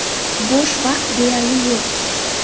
Bo‘sh vaqt deyarli yo‘q.